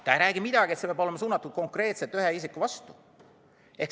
Ta ei räägi midagi sellest, et see peab olema suunatud konkreetselt ühe isiku vastu.